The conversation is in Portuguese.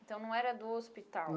Então não era do hospital?